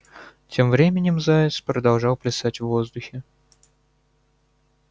тем временем заяц продолжал плясать в воздухе